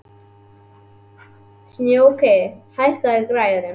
Snjóki, hækkaðu í græjunum.